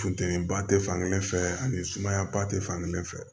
Funteni ba te fankelen fɛ ani sumaya ba tɛ fankelen fɛ